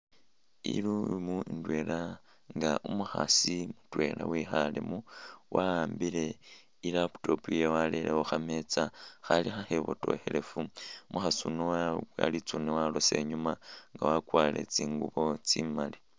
I'room indwela nga umukhaasi mutwela wekhalemo wa'ambile i'laptop yewe warere khukhameza Khali khakhebotokhelefu umukhaasi uno wabowa litsune walosa inyuma nga wakwarile tsingubo tsimaali